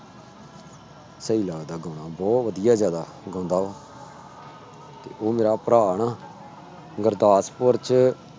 ਸਹੀ ਲੱਗਦਾ ਗਾਣਾ, ਬਹੁਤ ਵਧੀਆ ਜ਼ਿਆਦਾ ਗਾਉਂਦਾ ਉਹ ਤੇ ਉਹ ਮੇਰਾ ਭਰਾ ਨਾ ਗੁਰਦਾਸਪੁਰ ਚ